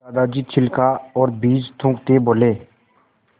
दादाजी छिलका और बीज थूकते बोले